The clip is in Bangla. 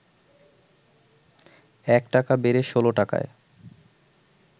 ১ টাকা বেড়ে ১৬ টাকায়